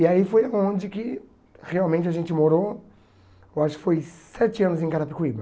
E aí foi onde que realmente a gente morou, eu acho que foi sete anos em Carapicuíba.